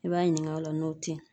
I b'a ɲininga o la n'o te yen